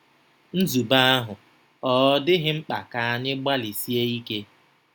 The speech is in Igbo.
Nzube ahụ ọ̀ dịghị mkpa ka anyị gbalịsie ike?